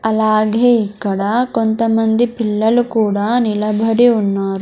అలాగే ఇక్కడ కొంతమంది పిల్లలు కూడా నిలబడి ఉన్నారు.